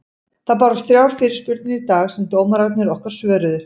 Það bárust þrjár fyrirspurnir í dag sem dómararnir okkar svöruðu.